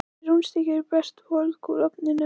Þessi rúnstykki eru best volg úr ofninum.